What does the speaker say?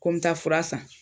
Kɔ mi taa fura san